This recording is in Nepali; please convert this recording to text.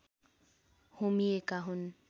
होमिएका हुन्